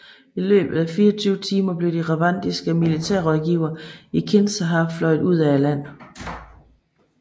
I løbet af 24 timer blev de rwandiske militærrådgivere i Kinshasa fløjet ud af landet